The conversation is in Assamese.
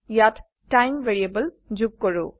ইয়াত সময় যোগ কৰো